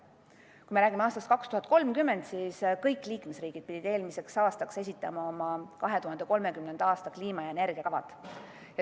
Kui me räägime aastast 2030, siis kõik liikmesriigid pidid eelmiseks aastaks esitama oma 2030. aasta kliima- ja energiakavad.